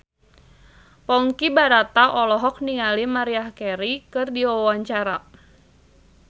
Ponky Brata olohok ningali Maria Carey keur diwawancara